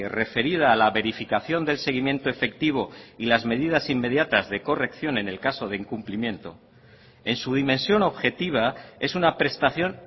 referida a la verificación del seguimiento efectivo y las medidas inmediatas de corrección en el caso de incumplimiento en su dimensión objetiva es una prestación